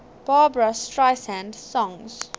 barbra streisand songs